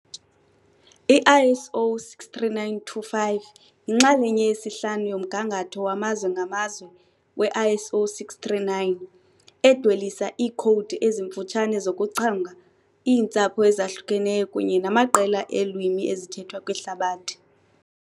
I-ISO 639-5 yinxalenye yesihlanu yomgangatho wamazwe ngamazwe we-ISO 639, edwelisa iikhowudi ezimfutshane zokuchonga iintsapho ezahlukeneyo kunye namaqela eelwimi ezithethwa kwihlabathi.